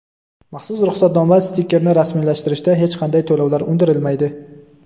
Maxsus ruxsatnoma (stiker)ni rasmiylashtirishda hech qanday to‘lovlar undirilmaydi.